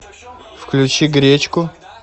включи гречку